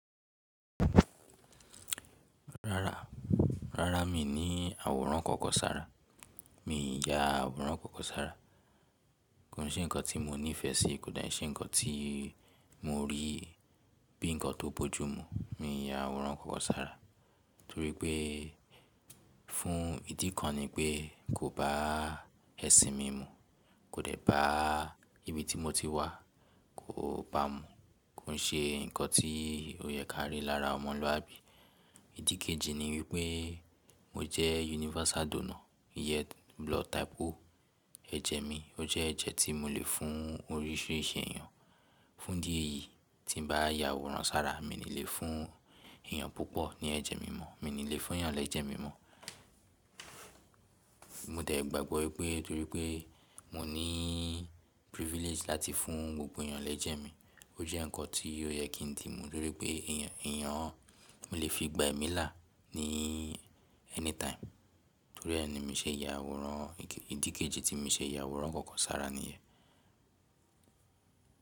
Rárá, rárá mi ní àwòrán kankan sára. Mi ya àwòrán kankan sára. Kò ń se ǹkan tí mo nífẹ̀ẹ́ sí, kò dé ń ṣe ǹkan tí mo rí bí ǹkan tó bójú mú. Mi ò ya àwòrán kankan sára torí pé fún ìdí kan ni pé kò bá ẹ̀sìn mi mu. Kò dẹ̀ bá ibi tí mo ti wà, kò bá mu. Kò ń ṣe ǹkan tí ó yẹ kí a rí lára ọmọlúàbí. Ìdí kejì ni wípé mo jẹ́ universal donor, Blood type Ó, eje mi ó je eje tí mo lè fún orisirisi èèyàn. Fún idí eyìí tí m bá ya àwòrán sára, mi ní lè fún èèyàn púpọ̀ ní ẹ̀jẹ̀ mi mọ́, mi ní lè fún èèyàn lẹ́jẹ̀ mi mọ́. Mo dé gbàgbọ́ wípé torípé mo ní privilege láti fún gbogbo èèyàn lẹ́jẹ̀ mi. Ó je nkan ti ó ye kí ń dí mú torípé mo lè fi gba èmi là ní anytime torí ẹ ní mi ṣe ya àwòrán. Ìdí kejì tí mi ṣe ya àwòrán kankan sára níyẹn.